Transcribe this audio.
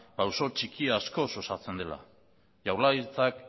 pausu txiki askoz osatzen dela jaurlaritzak